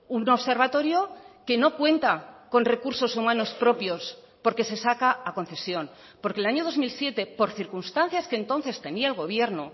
un observatorio que no cuenta con recursos humanos propios porque se saca a concesión porque el año dos mil siete por circunstancias que entonces tenía el gobierno